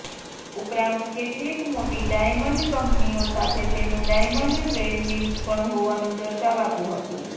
ઉપરાંત કેટલીક મોટી ડાયમંડ કંપનીઓ સાથે તેનંુ ડાયમંડ ટ્રેડિંગ પણ હોવાનંુ દર્શાવાતું હતું